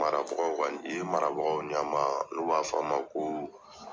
Marabagaw ka yen marabagaw ɲɛmaa n'u b'a fɔ ma ko